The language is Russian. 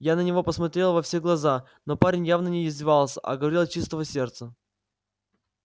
я на него посмотрела во все глаза но парень явно не издевался а говорил от чистого сердца